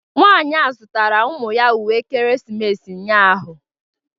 Nwanyị a zụtara ụmụ ya uwe ekeresimesi ụnyahụ